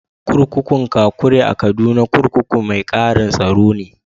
Kurkukun Kakuri a Kaduna, kurkukun mai ƙaran tsaro ne.